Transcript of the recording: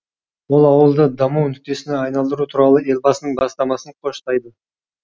ол ауылды даму нүктесіне айналдыру туралы елбасының бастамасын қоштайды